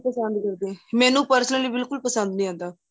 ਪਸੰਦ ਕਰਦੇ ਮੈਂਨੂੰ personally ਬਿਲਕੁਲ ਪਸੰਦ ਨਹੀਂ ਆਦਾ